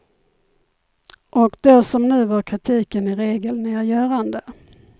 Och då som nu var kritiken i regel nedgörande.